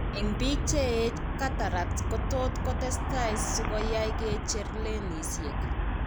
Eng' biik cheech cataracts kotot kotestai sikoyai kicher lenisiek